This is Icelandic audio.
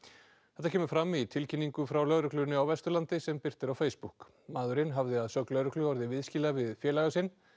þetta kemur fram í tilkynningu frá lögreglunni á Vesturlandi sem birt er á Facebook maðurinn hafði að sögn lögreglu orðið viðskila við félaga sinn